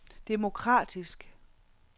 demokratisk